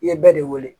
I ye bɛɛ de wele